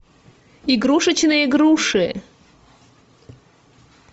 игрушечные груши